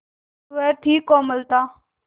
वह थी कोमलता